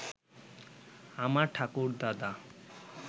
আমার ঠাকুরদাদা